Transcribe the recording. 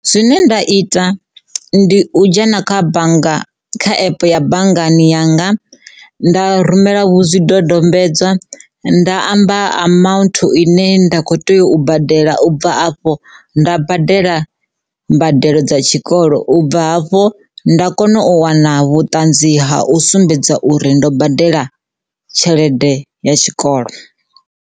Zwine nda ita ndi u dzhena kha bannga kha epe ya banngani yanga nda rumela vhu zwidodombedzwa nda amba amount ine nda kho tea u badela u bva afho nda badela mbadelo dza tshikolo, ubva hafhu nda kona u wana vhuṱanzi ha u sumbedza uri ndo badela tshelede ya tshikolo.